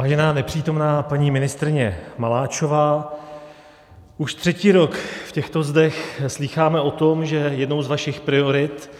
Vážená nepřítomná paní ministryně Maláčová, už třetí rok v těchto zdech slýcháme o tom, že jednou z vašich priorit